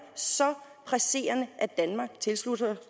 så presserende at danmark tilslutter